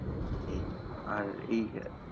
এই আর এই